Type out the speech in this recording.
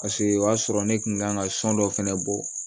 Paseke o y'a sɔrɔ ne kun kan ka sɔn dɔ fɛnɛ bɔ